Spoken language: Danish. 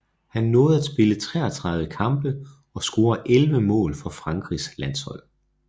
Han nåede at spille 33 kampe og score elleve mål for Frankrigs landshold